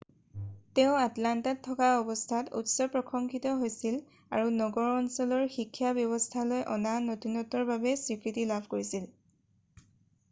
তেওঁ আটলাণ্টাত থকা অৱস্থাত উচ্চ প্ৰশংসিত হৈছিল আৰু নগৰ অঞ্চলৰ শিক্ষা ব্যৱস্থালৈ অনা নতুনত্বৰ বাবে স্বীকৃতি লাভ কৰিছিল